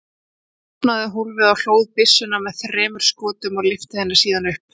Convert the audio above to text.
Hann opnaði hólfið og hlóð byssuna með þremur skotum og lyfti henni síðan upp.